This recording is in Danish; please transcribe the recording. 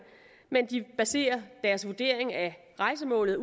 men baserer deres vurdering af rejsemålet